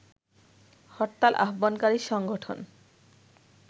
হরতাল আহ্বানকারী সংগঠন